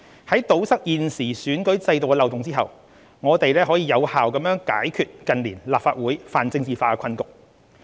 在堵塞現時選舉制度的漏洞後，我們可有效解決近年立法會泛政治化的困局。